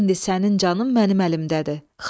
İndi sənin canın mənim əlimdədir.